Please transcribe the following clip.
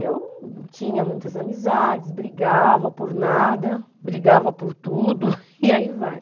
Eu tinha muitas amizades, brigava por nada, brigava por tudo, e aí vai.